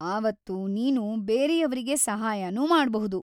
ಆವತ್ತು ನೀನು ಬೇರೆಯವ್ರಿಗೆ ಸಹಾಯನೂ ಮಾಡ್ಬಹುದು.